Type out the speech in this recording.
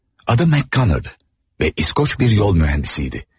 Adı McGanner'dı ve İskoç bir yol mühendisiydi.